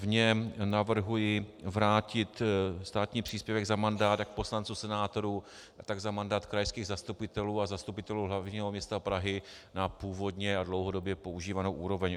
V něm navrhuji vrátit státní příspěvek za mandát jak poslanců, senátorů, tak za mandát krajských zastupitelů a zastupitelů hlavního města Prahy na původní a dlouhodobě používanou úroveň.